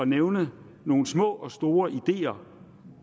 nævne nogle små og store ideer